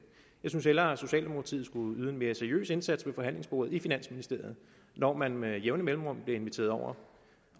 jeg synes hellere socialdemokratiet skulle yde en mere seriøs indsats ved forhandlingsbordet i finansministeriet når man med jævne mellemrum bliver inviteret over